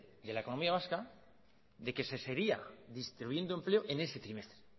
de la economía vasca de que se seguía destruyendo empleo en ese trimestre